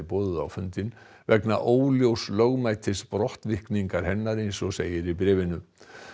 boðuð á fundinn vegna óljóss lögmætis brottvikningar hennar eins og segir í bréfinu